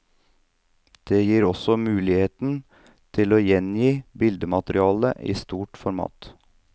Det gir også muligheten til å gjengi bildematerialet i stort format.